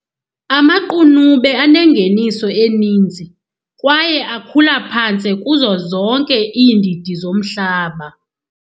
Amaqunube anengeniso eninzi, kwaye akhula phantse kuzo zonke iindidi zomhlaba.